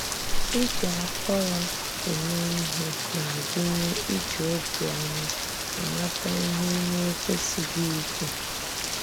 Ìjì àkòrò èmè íhè na-agụnyè ìjì òbíọ̀má àmàtà íhè ị́ na-ekwèsìghị íkwù.